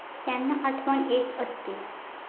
त्यांना आठवण येत असते.